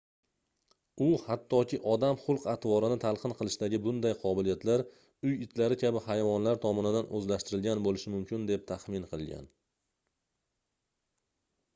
u hattoki odam xulq-atrvorini talqin qilishdagi bunday qobiliyatlar uy itlari kabi hayvonlar tomonidan oʻzlashtirilgan boʻlishi mumkin deb taxmin qilgan